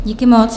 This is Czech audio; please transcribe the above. Díky moc.